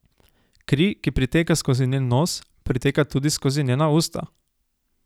Kri, ki priteka skozi njen nos, priteka tudi skozi njena usta.